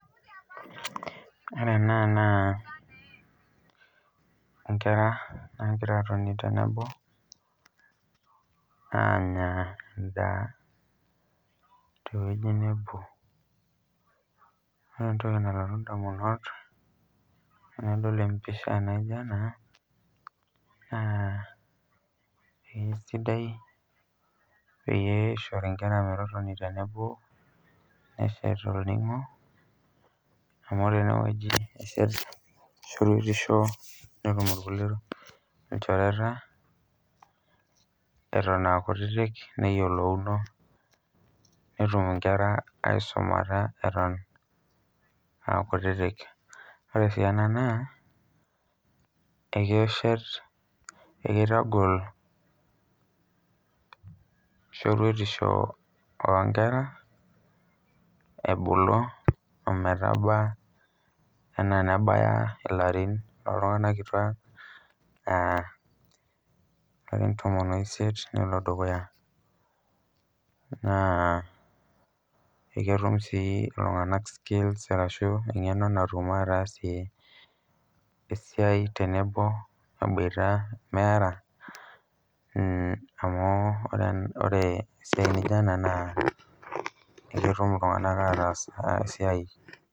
Ore ena naa inkera nagira atoni tenebo, anya endaa tewoi nebo. Ore entoki nalotu indamunot tenadol empisha naija ena, naa ekesidai pishori nkera metotoni tenebo, eshet olning'o, amu tenewoi eshet shoruetisho, netum irkulie ilchoreta, eton akutitik neyiolouno, netum inkera aisumata eton akutitik. Ore si ena naa, ekitagol shoruetisho onkera, ebulu ometaba enaa nebaya ilarin loltung'anak kituak. Ilarin tomon oisiet nelo dukuya. Naa eketum si iltung'anak skills arashu eng'eno natum atasie esiai tenebo eboita meera, amu ore esiai nijo ena naa, eketum iltung'anak ataas esiai.